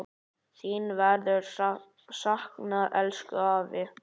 Þín verður saknað, elsku afi.